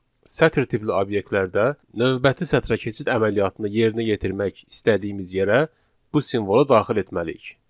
Sətr tipli obyektlərdə növbəti sətrə keçid əməliyyatını yerinə yetirmək istədiyimiz yerə bu simvolu daxil etməliyik.